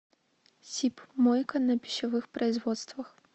сип мойка на пищевых производствах